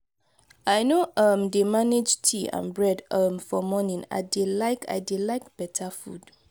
i no um dey manage tea and bread um for morning i dey like i dey like beta food.